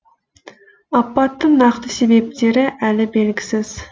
апаттың нақты себептері әлі белгісіз